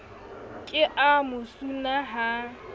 ke a mo suna ha